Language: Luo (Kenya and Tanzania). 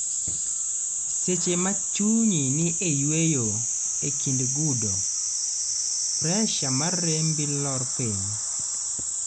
seche ma chunyi ni e yueyo e kind gudo, pressure mar rembi lor piny